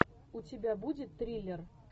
у тебя будет триллер